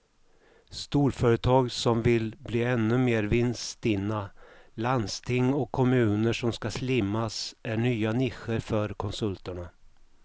Storföretag som vill bli ännu mer vinststinna, landsting och kommuner som ska slimmas är nya nischer för konsulterna.